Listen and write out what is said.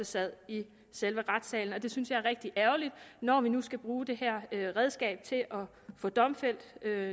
sad i selve retssalen det synes jeg er rigtig ærgerligt når vi nu skal bruge det her redskab til at få domfældt